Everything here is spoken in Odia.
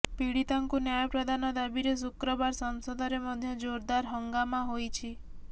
ପୀଡିତାଙ୍କୁ ନ୍ୟାୟ ପ୍ରଦାନ ଦାବିରେ ଶୁକ୍ରବାର ସଂସଦରେ ମଧ୍ୟ ଜୋରଦାର ହଙ୍ଗାମା ହୋଇଛି